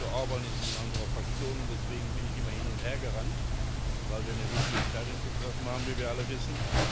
Viktor Orbán ist in unserer Fraktion, und deswegen bin ich immer hin und her gerannt, weil wir eine wichtige Entscheidung zu treffen haben, wie wir alle wissen.